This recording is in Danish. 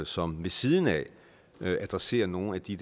som ved siden af adresserer nogle af de